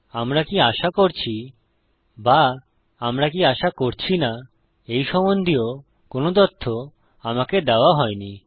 আমরা কি আশা করছি বা আমরা কি আশা করছি না এই সম্বন্ধীয় কোনো তথ্য আমাকে দেওয়া হইনি